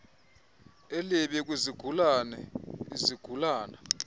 elibi kwizigulana izigulana